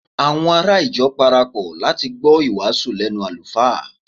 àwọn ará ìjọ parapọ láti gbọ iwasu lẹnu alufa